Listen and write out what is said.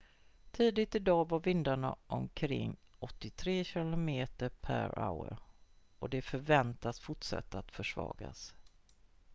tidigt i dag var vindarna omkring 83 km/h och de förväntades fortsätta att försvagas